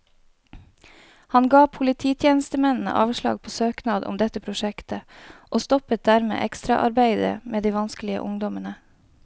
Han ga polititjenestemennene avslag på søknad om dette prosjektet, og stoppet dermed ekstraarbeidet med de vanskelige ungdommene.